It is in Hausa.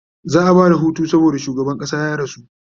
za'a Bada Hutu saboda shugaban ƙasa ya rasu